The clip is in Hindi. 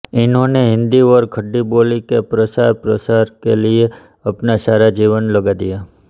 इन्होने हिन्दी और खड़ी बोली के प्रचारप्रसार के लिए अपना सारा जीवन लगा दिया